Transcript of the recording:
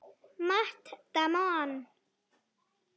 Matt Damon.